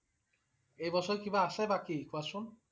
এই বছৰ কিবা আছে বাকি কোৱা চোন?